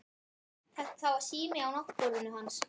Það var sími á náttborðinu hans.